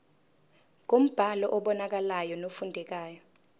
ngombhalo obonakalayo nofundekayo